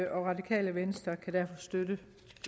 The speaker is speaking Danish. og radikale venstre kan derfor støtte